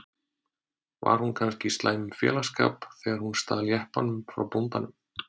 Var hún kannski í slæmum félagsskap þegar hún stal jeppanum frá bóndanum?